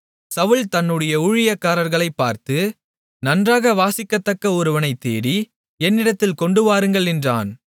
சவுல் தன்னுடைய ஊழியக்காரர்களைப் பார்த்து நன்றாக வாசிக்கத்தக்க ஒருவனைத் தேடி என்னிடத்தில் கொண்டுவாருங்கள் என்றான்